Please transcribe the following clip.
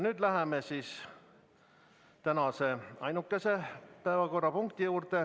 Nüüd läheme tänase ainukese päevakorrapunkti juurde.